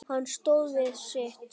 Hann stóð við sitt.